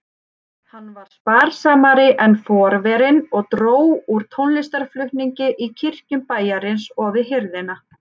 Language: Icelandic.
Hann var sparsamari en forverinn og dró úr tónlistarflutningi í kirkjum bæjarins og við hirðina.